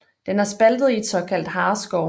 Den er spaltet i et såkaldt hareskår